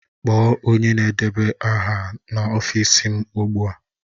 Kpọọ onye na-edeba aha n'ọfịs m ugbu a!